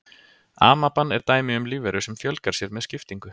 Amaban er dæmi um lífveru sem fjölgar sér með skiptingu.